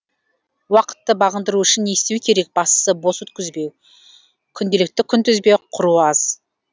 уақытты бағындыру үшін не істеу керек бастысы бос өткізбеу күнделікті күнтізбе құру аз